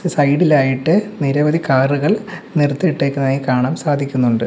Side ഇലായിട്ട് നിരവധി കാറുകൾ നിർത്തിയിട്ടേക്കുന്നതായി കാണാൻ സാധിക്കുന്നുണ്ട്.